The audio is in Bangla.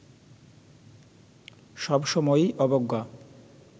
সব সময়ই অবজ্ঞা